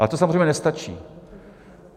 Ale to samozřejmě nestačí.